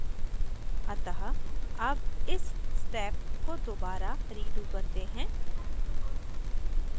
अतः अब इस step को दोबारा redo करते हैं